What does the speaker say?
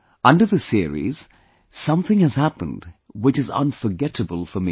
Under this series something has happened which is unforgettable for me